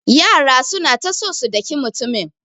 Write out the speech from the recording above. Yaran suna ta so su daki mutumin.